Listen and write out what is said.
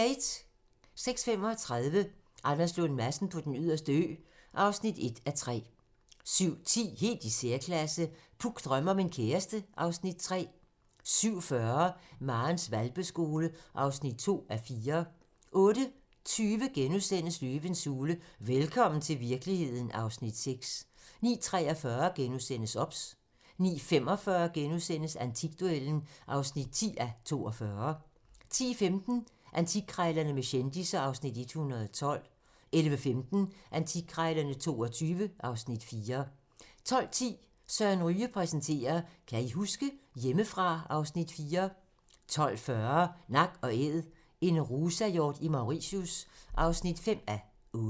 06:35: Anders Lund Madsen på Den Yderste Ø (1:3) 07:10: Helt i særklasse - Puk drømmer om en kæreste (Afs. 3) 07:40: Marens hvalpeskole (2:4) 08:20: Løvens hule – velkommen til virkeligheden (Afs. 6)* 09:43: OBS * 09:45: Antikduellen (10:42)* 10:15: Antikkrejlerne med kendisser (Afs. 112) 11:15: Antikkrejlerne XXII (Afs. 4) 12:10: Søren Ryge præsenterer: Kan I huske? - Hjemmefra (Afs. 4) 12:40: Nak & æd - en rusahjort i Mauritius (5:8)